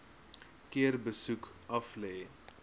keer besoek aflê